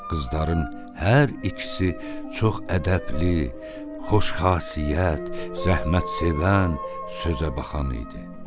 Qızların hər ikisi çox ədəbli, xoşxasiyyət, zəhmətsevən, sözəbaxan idi.